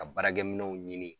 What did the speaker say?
Ka baarakɛminɛnw ɲini